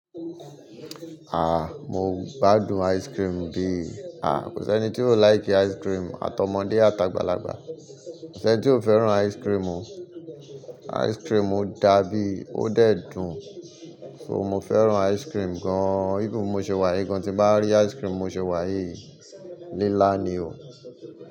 Ah! Mo gbádùn ice cream bí. Ah! Kò sí ẹni tí ó like ice cream, àtọmọdé àtàgbà lagbà. Kò sí ẹni tí ò fẹ́ràn ice cream o. Ice cream dá bí ó dẹ dùn, so mo fẹ́ràn ice cream gan. Even bí mo ṣe wà yìí gan, tí n bá rí ice cream mo ṣe wà yìí, nílá ni o.